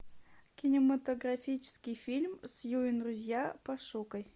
кинематографический фильм сью и друзья пошукай